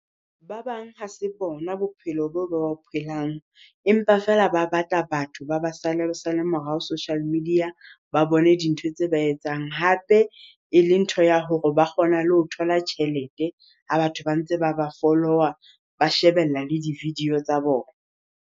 Ba bang ha se bona bophelo bo ba bo phelang. Empa feela ba batla batho ba ba sale sale morao social media. Ba bone dintho tse ba etsang, hape e le ntho ya hore ba kgona le ho thola tjhelete ha batho ba ntse ba ba follower ba shebella le di-video tsa bona.